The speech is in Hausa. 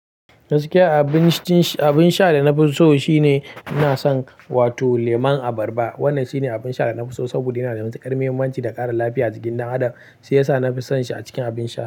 Gaskiya abin sha da na fi so shine na san wato lemun abarba. Wannan shine abin sha da na fi so saboda yana da muhimman ƙarmi da ƙara lafiya a jikin ɗan adam, shi yasa nafi son shi a cikin abin sha.